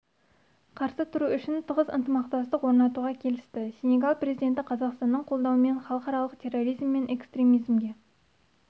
қарсы тұру үшін тығыз ынтымақтастық орнатуға келісті сенегал президенті қазақстанның қолдауымен халықаралық терроризм мен экстремизмге